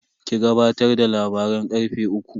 Ki gabatar da labaran karfe uku.